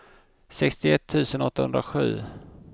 sextioett tusen åttahundrasju